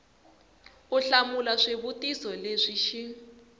u hlamula swivutiso leswi xi